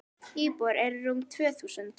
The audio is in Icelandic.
Íbúar eru rúm tvö þúsund.